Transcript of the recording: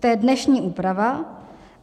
To je dnešní úprava.